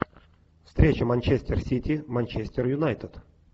встреча манчестер сити манчестер юнайтед